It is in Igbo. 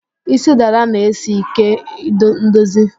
Isí dada na-esi ike ndozi